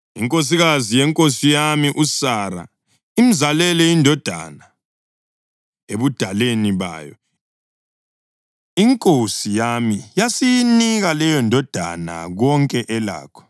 Inkosikazi yenkosi yami, uSara, imzalele indodana ebudaleni bayo, inkosi yami yasiyinika leyondodana konke elakho.